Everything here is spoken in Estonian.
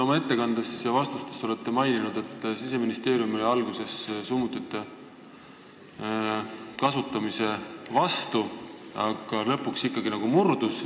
Oma ettekandes ja vastustes te olete maininud, et Siseministeerium oli alguses summutite kasutamise vastu, aga lõpuks ta ikkagi nagu murdus.